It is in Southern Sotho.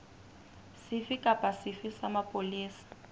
sefe kapa sefe sa mapolesa